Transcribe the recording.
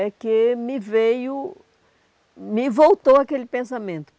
é que me veio, me voltou aquele pensamento.